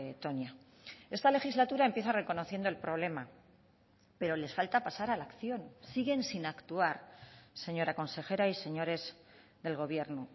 toña esta legislatura empieza reconociendo el problema pero les falta pasar a la acción siguen sin actuar señora consejera y señores del gobierno